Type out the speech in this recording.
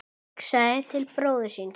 Hugsaði til bróður síns.